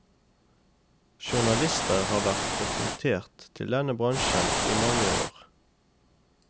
Journalister har vært rekruttert til denne bransjen i mange år.